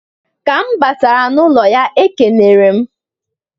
Ka m batara n'ụlọ ya e kenere m.